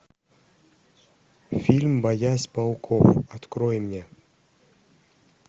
фильм боясь пауков открой мне